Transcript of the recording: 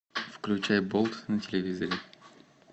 включай болт на телевизоре